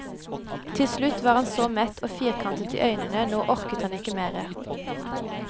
Til slutt var han så mett og firkantet i øynene, nå orket han ikke mer.